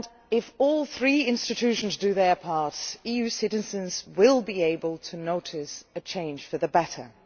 If all three institutions do their part, EU citizens will be able to notice a change for the better.